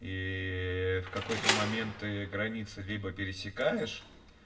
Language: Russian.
и ээ в какой-то момент ты границы либо пересекаешь